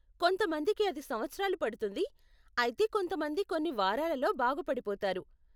కొంతమందికి అది సంవత్సరాలు పడుతుంది, అయితే కొంతమంది కొన్ని వారాలలో బాగుపడిపోతారు.